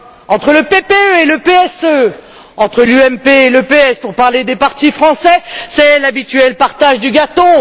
Entre le PPE et le PSE, entre l'UMP et le PS pour parler des partis français c'est l'habituel partage du gâteau.